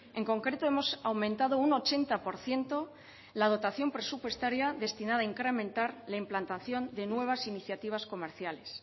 en concreto hemos aumentado un ochenta por ciento la dotación presupuestaria destinada a incrementar la implantación de nuevas iniciativas comerciales